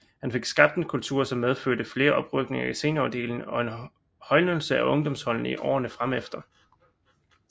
Han fik skabt en kultur som medførte til flere oprykninger i seniorafdelingen og en højnelse af ungdomsholdene i årerne fremefter